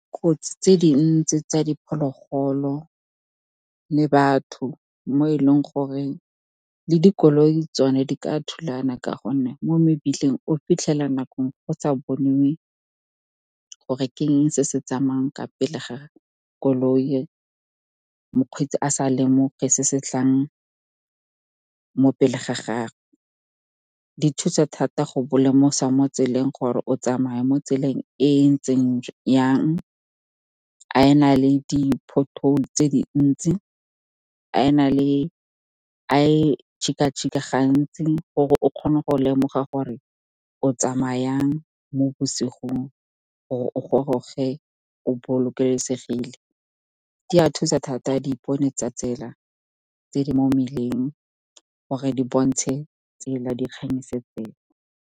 Kotsi tse dintsi tsa diphologolo le batho, mo e leng gore le dikoloi tsone di ka thulana, ka gonne mo mebileng o fitlhela nako go sa boniwe gore ke eng se se tsamayang ka pele ga koloi, mokgweetsi a sa lemoge se se tlang mo pele ga gagwe. Di thusa thata go bo lemosa mo tseleng gore o tsamaya mo tseleng e ntseng yang, a e na le di-pothole tse dintsi, a e tšhika-tšhika gantsi gore o kgone go lemoga gore o tsamaya yang mo bosigong, gore o goroge o bolokesegile. Di a thusa thata dipone tsa tsela tse di mo mmileng, gore di bontshe tsela, dikganyise tsela.